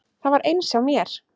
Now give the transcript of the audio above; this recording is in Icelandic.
Það var eins hjá mér.